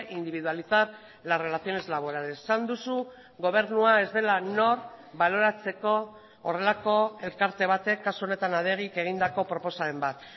individualizar las relaciones laborales esan duzu gobernua ez dela nor baloratzeko horrelako elkarte batek kasu honetan adegik egindako proposamen bat